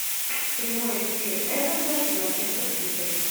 прямой эфир эвертон и манчестер сити